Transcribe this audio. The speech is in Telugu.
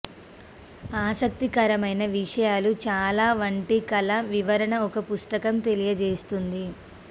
ఆసక్తికరమైన విషయాలు చాలా వంటి కల వివరణ ఒక పుస్తకం తెలియజేస్తుంది